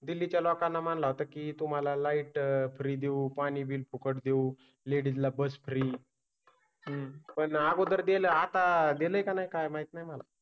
दिल्ली च्या लोकांना म्हणाला की तुम्हाला लाइट फ्री देऊ पाणी बिल फुकट देऊ लेडीज ला बस फ्री. हम्म. पण अगोदर दिल आता दिलं नाही काय माहित नाही मला.